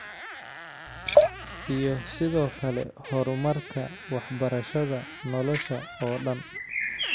Iyo sidoo kale horumarka waxbarashada nolosha oo dhan.